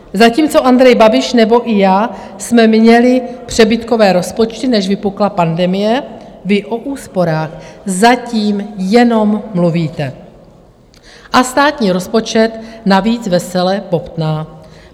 Zatímco Andrej Babiš nebo i já jsme měli přebytkové rozpočty, než vypukla pandemie, vy o úsporách zatím jenom mluvíte a státní rozpočet navíc vesele bobtná.